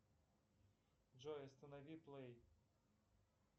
джой останови плей